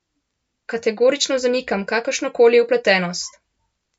Kategorično zanikam kakršno koli vpletenost.